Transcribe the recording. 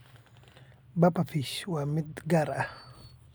Pufferfish waa mid gaar ah.